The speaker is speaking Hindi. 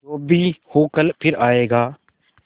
जो भी हो कल फिर आएगा